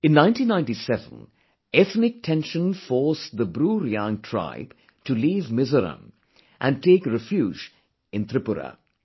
In 1997, ethnic tension forced the BruReang tribe to leave Mizoram and take refuge in Tripura